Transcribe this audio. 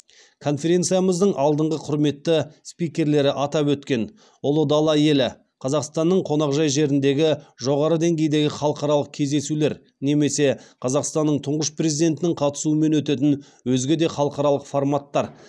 конференциямыздың алдыңғы құрметті спикерлері атап өткен ұлы дала елі қазақстанның қонақжай жеріндегі жоғары деңгейдегі халықаралық кездесулер немесе қазақстанның тұңғыш президентінің қатысуымен өтетін өзге де халықаралық форматтар